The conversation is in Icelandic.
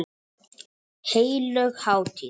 Heilög hátíð.